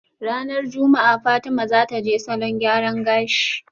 Ranar juma'a Fatima zataje salon gyaran gashi